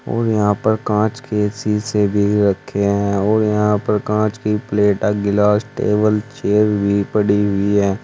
और यहां पर कांच के शीशे भी रखे हैं और यहां पर कांच की प्लेटा गिलास टेबल चेयर भी पड़ी हुई हैं।